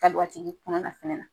Ka don a tigi kɔnɔna fɛnɛ na